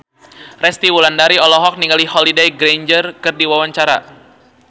Resty Wulandari olohok ningali Holliday Grainger keur diwawancara